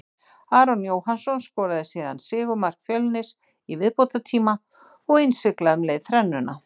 Aron Jóhannsson skoraði síðan sigurmark Fjölnis í viðbótartíma og innsiglaði um leið þrennuna.